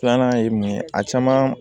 Filanan ye mun ye a caman